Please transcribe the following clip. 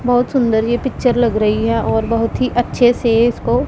बहुत सुंदर ये पिक्चर लग रही है और बहोत ही अच्छे से इसको--